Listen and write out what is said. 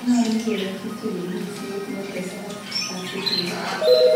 Nyolu keyachi chikilisiet netesat asi kiyan